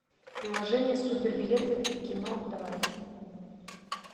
приложение супер билеты в кино давай